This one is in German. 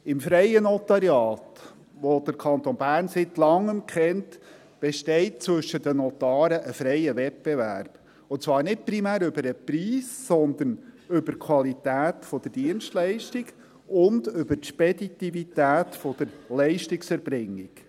Im freien Notariat, das der Kanton Bern seit Langem kennt, besteht zwischen den Notaren ein freier Wettbewerb, und zwar nicht primär über den Preis, sondern über die Qualität der Dienstleistung und über die Speditivität der Leistungserbringung.